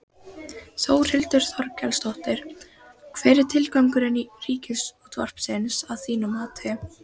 Þórhildur Þorkelsdóttir: Hver er tilgangur Ríkisútvarpsins að þínu mati?